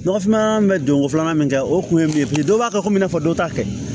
Nɔgɔfinma bɛ don ko filanan min kɛ o kun ye min ye biriki dɔw b'a kɛ komi i n'a fɔ dɔ ta kɛ